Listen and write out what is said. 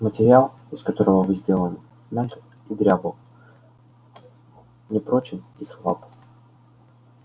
материал из которого вы сделаны мягок и дрябл непрочен и слаб